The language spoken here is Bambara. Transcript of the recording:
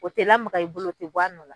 O tɛ lamaga i bolo o tɛ bɔ a nɔ na.